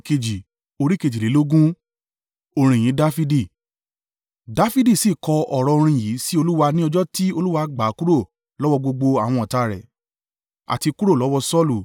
Dafidi sì kọ ọ̀rọ̀ orin yìí sí Olúwa ní ọjọ́ tí Olúwa gbà á kúrò lọ́wọ́ gbogbo àwọn ọ̀tá rẹ̀, àti kúrò lọ́wọ́ Saulu.